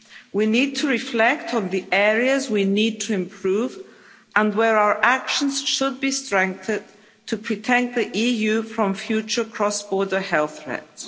We need to reflect on the areas we need to improve and where our actions should be strengthened to protect the EU from future cross border health threats.